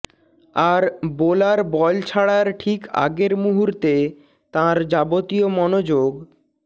আর bowler ball ছাড়ার ঠিক আগের মুহূর্তে তাঁর যাবতীয় মনোযোগ